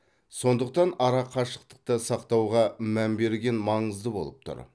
сондықтан ара қашықты сақтауға мән берген маңызды болып тұр